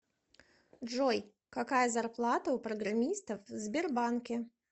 джой какая зарплата у программистов в сбербанке